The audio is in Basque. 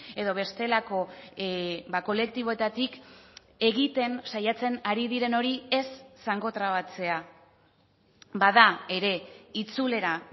edo bestelako kolektiboetatik egiten saiatzen ari diren hori ez zangotrabatzea bada ere itzulera